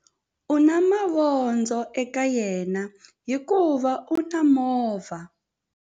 U na mavondzo eka yena hikuva u na movha.